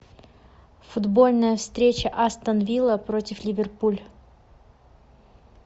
футбольная встреча астон вилла против ливерпуль